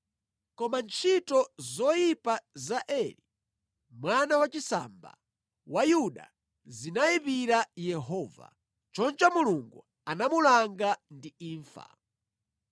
Koma ntchito zoyipa za Eri, mwana wachisamba wa Yuda zinayipira Yehova. Choncho Mulungu anamulanga ndi imfa.